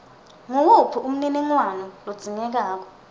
nguwuphi umniningwano lodzingekako